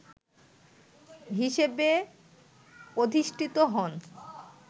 হিসেবে অধিষ্ঠিত হন